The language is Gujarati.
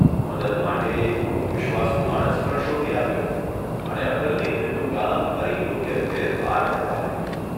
મદદ માટે એક ખુબ વિશ્વાસુ માણસ પણ શોધી આપ્યો અને અટલની મિલનું કામ ફરી યોગ્ય રીતે પાર પડવા લાગ્યું.